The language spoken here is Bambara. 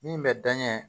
Min bɛ danɲɛ